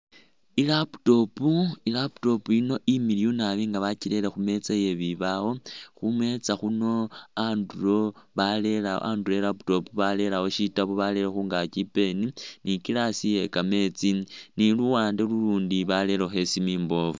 I'laptop , i'laptop yino imiliyu naabi nga bakirele khumeza yebibawo, khumeza khuno andulo barelo andulo i'laptop barelewo shitaabu barele khungaki i'pen ni glass ye kameetsi ni luwande lulundi barelekho isimu imboofu